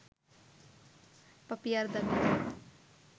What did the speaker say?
পাপিয়ার দাবি